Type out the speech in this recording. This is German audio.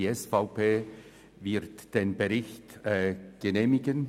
Die SVP wird den Bericht genehmigen.